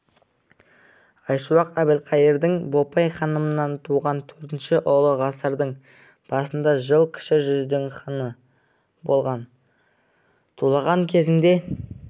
айшуақ әбілқайырдың бопай ханымнан туған төртінші ұлы ғасырдың басында жыл кіші жүздің ханы болған тулаған кезеңде